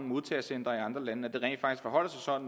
modtagecentre i andre lande